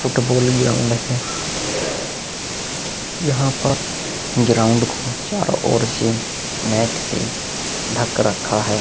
Football ground है। यहा पर ग्राउन्ड को चारों ओर से नेट से ढक रखा है।